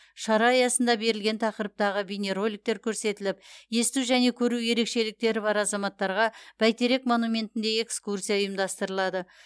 шара аясында берілген тақырыптағы бейнероликтер көрсетіліп есту және көру ерекшеліктері бар азаматтарға бәйтерек монументінде экскурсия ұйымдастырылады